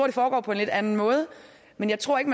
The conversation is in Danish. det foregår på en lidt anden måde men jeg tror ikke